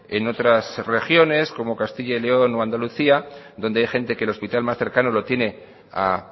en otras regiones como castilla y león o andalucía donde hay gente que el hospital más cercano lo tiene a